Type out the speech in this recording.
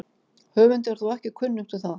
Höfundi er þó ekki kunnugt um það.